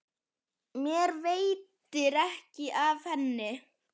Mér veitir ekki af henni.